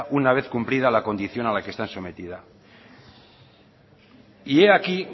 una vez cumplida la condición a la que están sometidas y he aquí